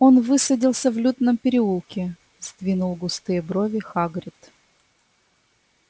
он высадился в лютном переулке сдвинул густые брови хагрид